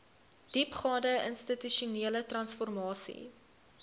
diepgaande institusionele transformasie